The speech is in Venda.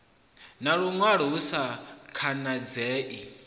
na luṅwalo hu sa khanadzei